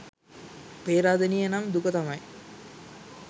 පේරාදෙණිය නම් දුක තමයි.